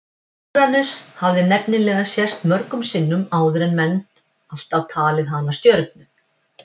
Úranus hafði nefnilega sést mörgum sinnum áður en menn alltaf talið hana stjörnu.